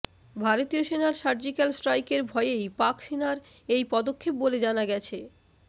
ভারতীয় সেনার সার্জিক্যাল স্ট্রাইকের ভয়েই পাক সেনার এই পদক্ষেপ বলে জানা গেছে